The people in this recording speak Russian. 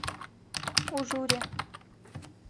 ужуре